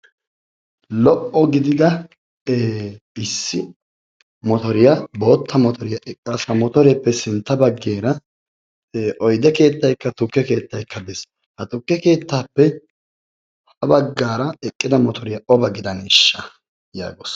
Lo''o gidia issi motoriyaa bootta motoriyaa eqqaasu. ha motoreppe sintta baggara oyde keettaykka tukke keetaykka des, ha tukke keetteppe sintta baggara eqqida bootta motoiryaa oba gidaneshsha?